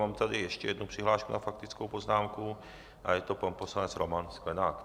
Mám tady ještě jednu přihlášku na faktickou poznámku a je to pan poslanec Roman Sklenák.